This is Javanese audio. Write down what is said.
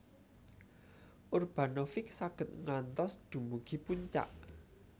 Urbanovic saged ngantos dumugi puncak